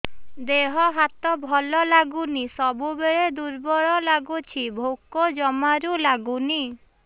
ଦେହ ହାତ ଭଲ ଲାଗୁନି ସବୁବେଳେ ଦୁର୍ବଳ ଲାଗୁଛି ଭୋକ ଜମାରୁ ଲାଗୁନି